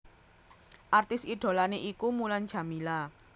Artis idholané iku Mulan Jameela